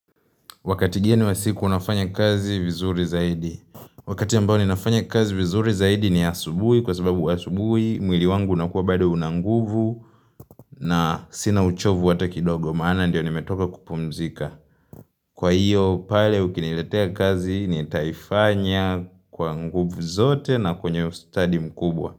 Wakati gani wa siku unafanya kazi vizuri zaidi. Wakati ambao ninafanya kazi vizuri zaidi ni asubuhi kwa sababu asubuhi, mwili wangu unakuwa bado una nguvu na sina uchovu hata kidogo maana ndiyo nimetoka kupumzika. Kwa hiyo pale ukiniletea kazi nitaifanya kwa nguvu zote na kwenye study mkubwa.